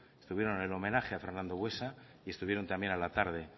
estuvieron en el homenaje a fernando buesa y estuvieron a la tarde